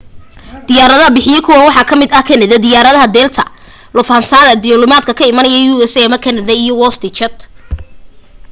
diyaaradaha bixiya kuwan waxaa kamida ta kanada, diyaarada delta lufthansa duulimaadyada ka imanaya u.s ama kanada iyo westjet